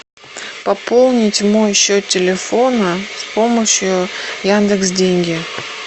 пополнить мой счет телефона с помощью яндекс деньги